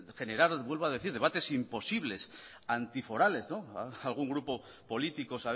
generar vuelvo a decir debates imposibles antiforales algún grupo político